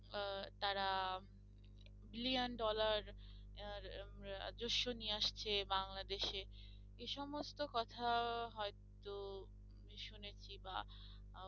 আহ তারা billion dollar আর উম রাজস্য নিয়ে আসছে বাংলাদেশে এসমস্ত কথা হয়তো আমি শুনেছি বা